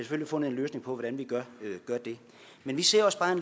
have fundet en løsning på hvordan vi gør det men vi ser også bare